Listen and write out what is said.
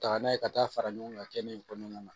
Taga n'a ye ka taa fara ɲɔgɔn kan kɛnɛ in kɔnɔna na